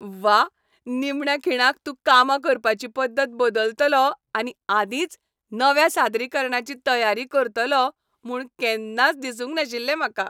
व्वा! निमण्या खिणाक तूं कामां करपाची पद्दत बदलतलो आनी आदींच नव्या सादरीकरणाची तयारी करतलो म्हूण केन्नाच दिसूंक नाशिल्लें म्हाका.